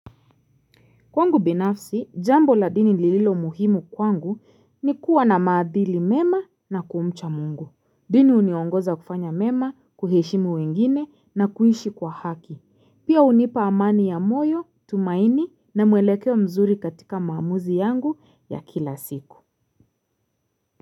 Kwangu binafsi, jambo la dini lililo muhimu kwangu ni kuwa na maadili mema na kumcha mungu. Dini huniongoza kufanya mema, kuheshimu wengine na kuishi kwa haki. Pia hunipa amani ya moyo, tumaini na mwelekewa mzuri katika maamuzi yangu ya kila siku.